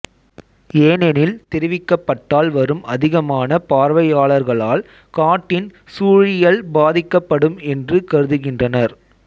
ஏனெனில் தெரிவிக்கப்பட்டால் வரும் அதிகமான பார்வையாளர்களால் காட்டின் சூழியல் பாதிக்கப்படும் என்று கருதுகின்றனர்